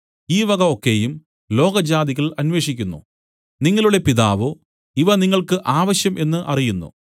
ഈ വക ഒക്കെയും ലോകജാതികൾ അന്വേഷിക്കുന്നു നിങ്ങളുടെ പിതാവോ ഇവ നിങ്ങൾക്ക് ആവശ്യം എന്നു അറിയുന്നു